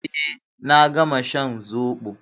Eh, na gama shan zobo.